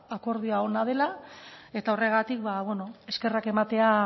ba akordioa ona dela eta horregatik ba bueno eskerrak ematea